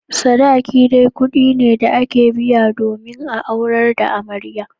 Sadaki dai kudi ne da ake biya domin a aurar da amarya.